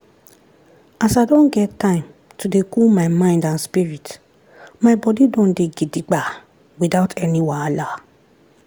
as i don get time to dey cool my mind and spirit my body don dey gidigba without any wahala.